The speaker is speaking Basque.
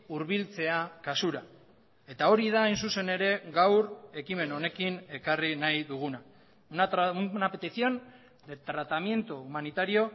hurbiltzea kasura eta hori da hain zuzen ere gaur ekimen honekin ekarri nahi duguna una petición de tratamiento humanitario